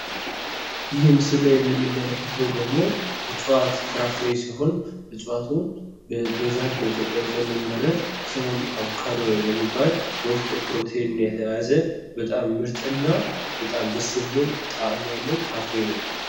ይህ ምስሉ ላይ የምንመለከተው ምስል ደግሞ እጽዋት ፍራፍሬ ሲሆን እጽዋቱ በብዛት በኢትዮጵያ የሚመረት ስሙም አቮካዶ የሚባል በውስጡ ፕሮቲን የያዘ በጣም ምርጥና በጣም ደስ የሚል ጣዕም ያለው ፍራፍሬ ነው።